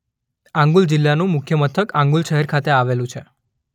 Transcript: આંગુલ જિલ્લાનું મુખ્ય મથક આંગુલ શહેર ખાતે આવેલું છે.